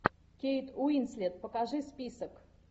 кейт уинслет покажи список